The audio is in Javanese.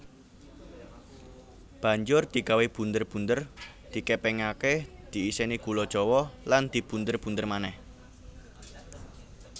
Banjur digawé bunder bunder digèpèngaké diisèni gula Jawa lan dibunder bunder manèh